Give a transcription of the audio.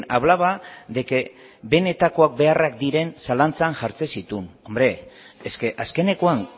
hablaba de que benetakoak beharrak diren zalantzan jartzen zituen hombre es que azkenekoan